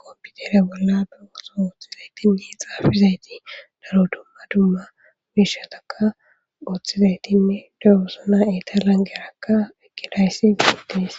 kompiutere bolla bewoso ooththizaytinne xaafizayti daro dumma dumma biishataka uoththizaytinne darosuna italangerakka ekkidayssi giguttidis